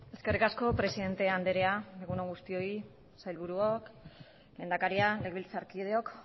eskerrik asko presidente andrea egun on guztioi sailburuok lehendakaria legebiltzarkideok